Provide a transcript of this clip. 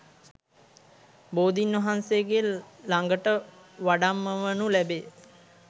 බෝධීන් වහන්සේගේ ළඟට වඩම්මවනු ලැබේ